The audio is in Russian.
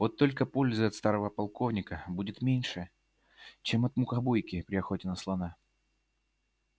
вот только пользы от старого полковника будет меньше чем от мухобойки при охоте на слона